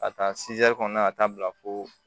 Ka taa kɔnɔna ka taa bila fo